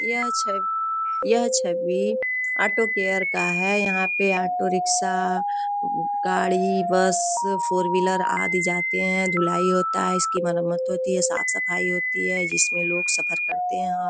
ये छ ये छवि ऑटो केयर का है। यहाँ पे ऑटो रिक्शा गाड़ी बस फोर व्हीलर आदि जाते हैं। धुलाई होता हैं इसकी मरमत होती हैं। साफ सफाई होती हैं जिसमे लोग सफ़र करते हैं।